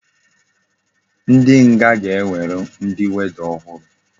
Ndi nga ga enwere ndi warder ohuru